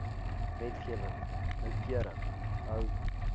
wetgewing noukeurig hou